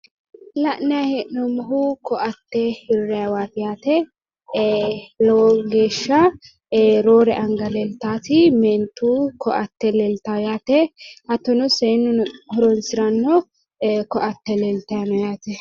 La'nayi hee'noommohu ko'atte hirrayiwaati yaate. Eee lowo geeshsha leeltaati meentu ko'atte leeltawo yaate hattono seennuno horonsiranno ko'atte leeltay no yaate.